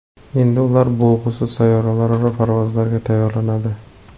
Endi ular bo‘lg‘usi sayyoralararo parvozlarga tayyorlanadi.